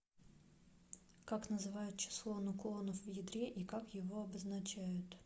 как называют число нуклонов в ядре и как его обозначают